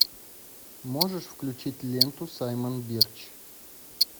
можешь включить ленту саймон бирч